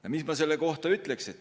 Ja mis ma selle kohta ütleks?